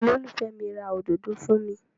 Olólùfẹ́ mi ra òdodo fún mi.